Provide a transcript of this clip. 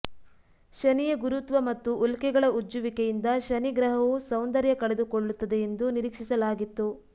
ಶನಿಯ ಗುರುತ್ವ ಮತ್ತು ಉಲ್ಕೆಗಳ ಉಜ್ಜುವಿಕೆಯಿಂದ ಶನಿ ಗ್ರಹವು ಸೌಂದರ್ಯ ಕಳೆದುಕೊಳ್ಳುತ್ತದೆ ಎಂದು ನಿರೀಕ್ಷಿಸಲಾಗಿತ್ತು